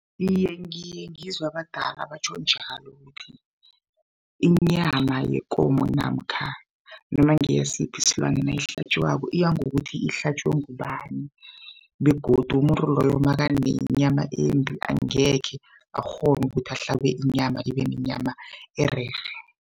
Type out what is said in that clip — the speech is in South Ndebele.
Iye, ngiye ngizwe abadala batjho njalo ukuthi inyama yekomo namkha nomangeyasiphi isilwane nasihlatjwako iya ngokuthi ihlatjwe ngubani? begodu umuntu loyo makanenyama embi angekhe akghona ukuthi ahlabe inyama ibe nenyama ererhe.